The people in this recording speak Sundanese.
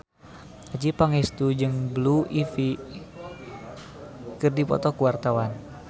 Adjie Pangestu jeung Blue Ivy keur dipoto ku wartawan